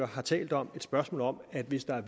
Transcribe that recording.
har talt om et spørgsmål om at hvis der er